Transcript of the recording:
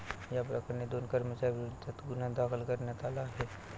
याप्रकरणी दोन कर्मचाऱ्यांविरोधात गुन्हा दाखल करण्यात आला आहे.